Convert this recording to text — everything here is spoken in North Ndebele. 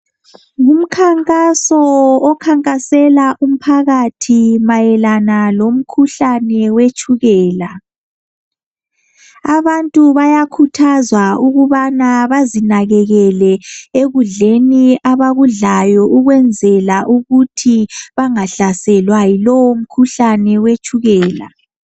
Ngumkhankaso okhankasela umphakathi mayelana lomkhuhlane wetshukela. Abantu bayakhuthazwa ukubana bazinakekele ekudleni abakudlayo ukwenzela ukuthi bangahlaselwa yilowomkhuhlane wetshukela.